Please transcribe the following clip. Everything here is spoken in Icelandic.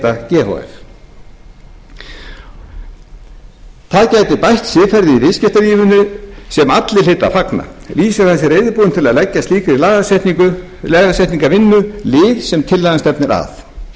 h f það gæti bætt siðferðið í viðskiptalífinu sem allir hlytu að fagna lýsir hann sig reiðubúinn til að leggja slíkri lagasetningarvinnu lið sem tillagan stefnir